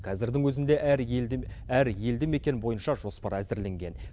қазірдің өзінде әр елді әр елді мекен бойынша жоспар әзірленген